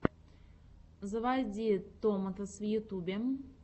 заводи томатос в ютьюбе